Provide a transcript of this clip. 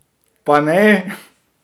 Pa ne!